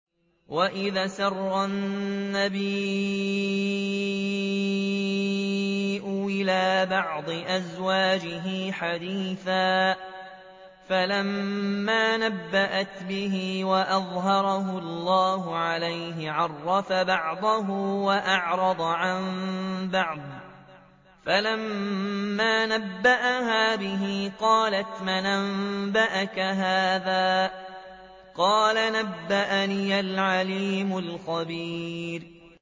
وَإِذْ أَسَرَّ النَّبِيُّ إِلَىٰ بَعْضِ أَزْوَاجِهِ حَدِيثًا فَلَمَّا نَبَّأَتْ بِهِ وَأَظْهَرَهُ اللَّهُ عَلَيْهِ عَرَّفَ بَعْضَهُ وَأَعْرَضَ عَن بَعْضٍ ۖ فَلَمَّا نَبَّأَهَا بِهِ قَالَتْ مَنْ أَنبَأَكَ هَٰذَا ۖ قَالَ نَبَّأَنِيَ الْعَلِيمُ الْخَبِيرُ